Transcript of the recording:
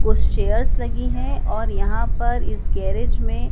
कुछ चेयर्स लगी हैं और यहां पर इस गैरेज में--